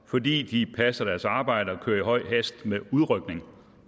fordi de passer deres arbejde og kører i høj hast med udrykning